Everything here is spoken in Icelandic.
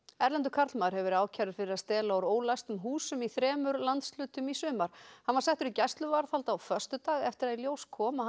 erlendur karlmaður hefur verið ákærður fyrir að stela úr ólæstum húsum í þremur landshlutum í sumar hann var settur í gæsluvarðhald á föstudag eftir að í ljós kom að hann